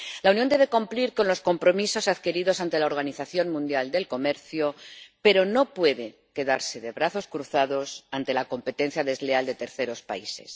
La Unión debe cumplir con los compromisos adquiridos ante la Organización Mundial del Comercio, pero no puede quedarse de brazos cruzados ante la competencia desleal de terceros países.